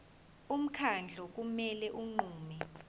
umkhandlu kumele unqume